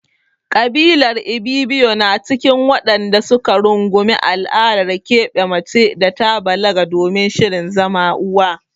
Ƙabilar Ibibiyo na cikin waɗanda su ka rungumi al'adar keɓe mace da ta balaga domin shirin zama uwa.